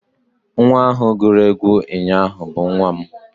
nwa ahụ guru egwu ụnyahụ bụ nwa m